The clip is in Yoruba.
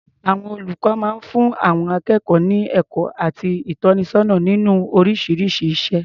Àwọn olùkọ máa ń fún àwọn akékọ̀ọ́ ní ẹ̀kọ́ àti ìtọ́nisọ́nà nínú oríṣiríṣi iṣẹ́.